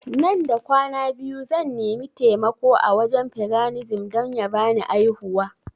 Nan da kwana biyu zan nimi taimako a wajen paganism don ya bani aihuwa